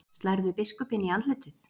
Slærðu biskupinn í andlitið?